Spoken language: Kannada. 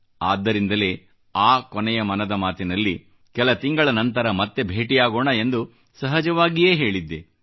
ಆದ್ದರಿಂದಲೇ ಕೊನೆಯ ಮನದ ಮಾತಿನಲ್ಲಿ ಕೆಲ ತಿಂಗಳ ನಂತರ ಮತ್ತೆ ಭೇಟಿಯಾಗೋಣ ಎಂದು ಸಹಜವಾಗಿಯೇ ಹೇಳಿದ್ದೆ